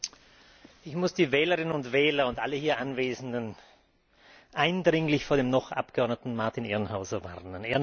Herr Präsident! Ich muss die Wählerinnen und Wähler und alle hier Anwesenden eindringlich vor dem Noch Abgeordneten Martin Ehrenhauser warnen.